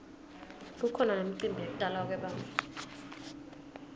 kukhona nemicimbi yekutalwa kwebantfu